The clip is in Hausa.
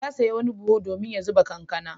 Ya sayo wani buhu domin ya zuba kankana.